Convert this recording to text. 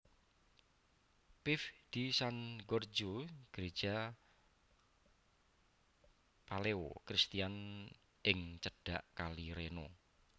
Pieve di San Giorgio Greja Palaeo Christian ing cedhak Kali Reno